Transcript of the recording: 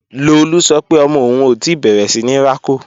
Lolú sọ pé ọmọ òun ò tí bẹ̀rẹ̀ síní rákò